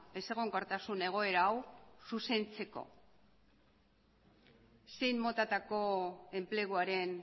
ezegonkortasun egoera hau zuzentzeko zein motatako enpleguaren